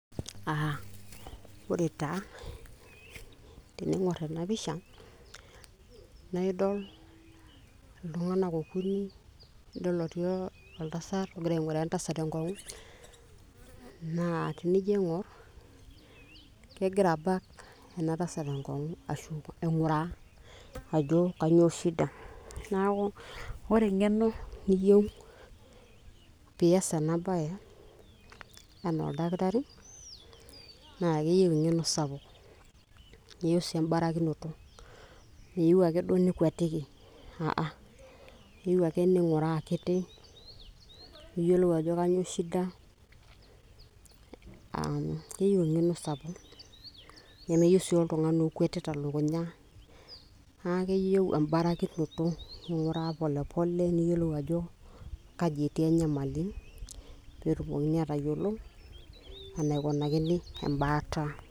Ah ore taa, tening'or ena pisha, na idol iltung'anak okuni, idol etii oltasat ogira aing'uraa entasat enkong'u, naa tenijo aing'or, kegira abak enatasat enkong'u ashu aing'uraa, ajo kanyioo shida. Neeku, ore eng'eno niyieu pias enabae, enaa oldakitari, na keyieu si embarakinoto, meyieu ake duo nikuatiki,a a,keyieu ake ning'uraa akiti, niyiolou ajo kanyioo shida, um keyieu eng'eno sapuk. Nemeyieu si oltung'ani okuetita elukunya. Na keyieu ebarakinoto. Ning'uraa polepole, niyiolou ajo kaji etii enyamali, petumokini atayiolo enaikunakini embaata.